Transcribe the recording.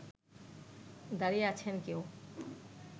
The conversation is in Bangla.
দাড়িয়ে আছেন কেউ